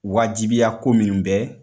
Wajibiya ko minnu bɛ